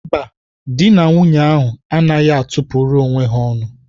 Mba, dị na nwunye ahụ anaghị atụ pụrụ onwe ha ọnụ.